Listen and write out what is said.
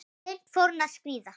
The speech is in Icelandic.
Seint fór hún að skríða.